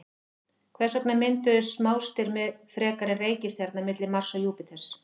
Hvers vegna mynduðust smástirni frekar en reikistjarna milli Mars og Júpíters?